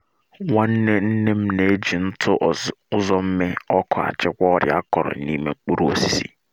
nwanne nne m um na-eji ntụ um uzomme ọkụ achịkwa ọrịa akọrọ na’ime um mkpụrụ osisi.